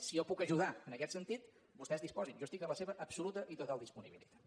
si jo puc ajudar en aquest sentit vostès disposin ne jo estic a la seva absoluta i total disponibilitat